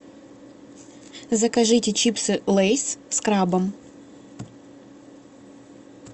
закажите чипсы лейс с крабом